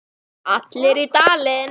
Allir í Dalinn!